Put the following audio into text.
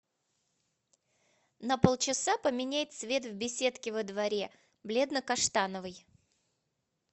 на полчаса поменяй цвет в беседке во дворе бледно каштановый